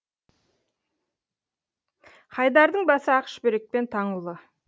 хайдардың басы ақ шүберекпен таңулы